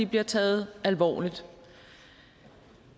bliver taget alvorligt vi